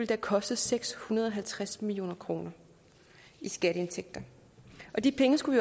have kostet seks hundrede og halvtreds million kroner i skatteindtægter og de penge skulle